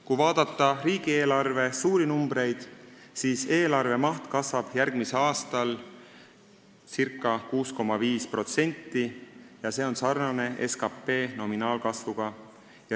Kui vaadata riigieelarve suuri numbreid, siis on näha, et eelarve maht kasvab järgmisel aastal ca 6,5%, see on sarnane SKT nominaalkasvuga.